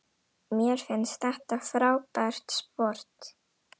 Mér finnst þetta frábært sport.